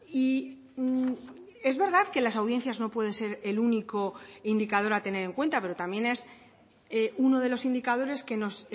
y es verdad que las audiencias no pueden ser el único indicador a tener en cuenta pero también es uno de los indicadores que nos